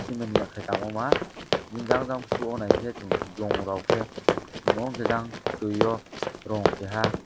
chimani yake tangoma jang jang ke soyo naike chong bolong rok ke tango oroke jang tui borong kaha.